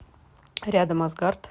рядом азгард